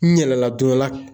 N yɛlɛla don dɔ la